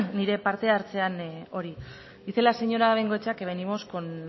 nire parte hartzean hori dice la señora bengoechea que venimos con